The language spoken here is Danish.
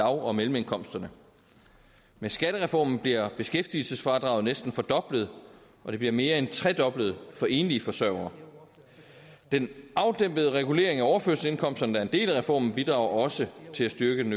og mellemindkomsterne med skattereformen bliver beskæftigelsesfradraget næsten fordoblet og det bliver mere end tredoblet for enlige forsørgere den afdæmpede regulering af overførselsindkomsterne der er en del af reformen bidrager også til at styrke den